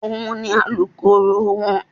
Òun ni Alukoro wọn.